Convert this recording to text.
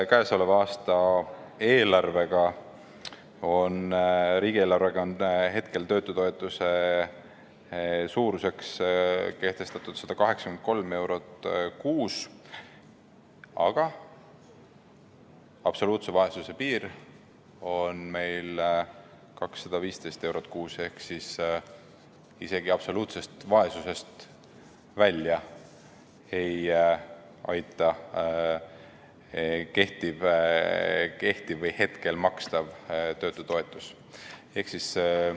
Käesoleva aasta riigieelarvega on töötutoetuse suuruseks kehtestatud 183 eurot kuus, aga absoluutse vaesuse piir on 215 eurot kuus ehk siis hetkel makstav töötutoetus ei aita isegi absoluutsest vaesusest välja.